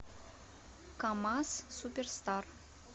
камазз суперстар